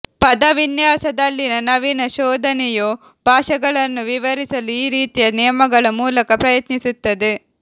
ಪದವಿನ್ಯಾಸದಲ್ಲಿನ ನವೀನ ಶೋಧನೆಯು ಭಾಷೆಗಳನ್ನು ವಿವರಿಸಲು ಈ ರೀತಿಯ ನಿಯಮಗಳ ಮೂಲಕ ಪ್ರಯತ್ನಿ ಸುತ್ತದೆ